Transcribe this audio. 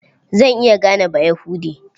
Zan iya gane Bayahude.